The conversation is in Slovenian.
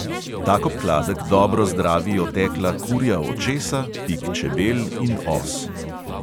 Tak obkladek dobro zdravi otekla kurja očesa, pik čebel in os.